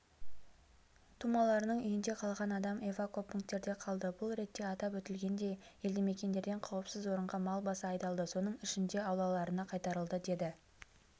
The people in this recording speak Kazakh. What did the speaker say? тумаларының үйінде қалған адам эвакопункттерде қалды бұл ретте атап өтілгендей елдімекендерден қауіпсіз орынға мал басы айдалды соның ішінде аулаларына қайтарылды деді